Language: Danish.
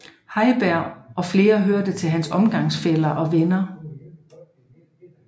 Heiberg og flere hørte til hans omgangsfæller og venner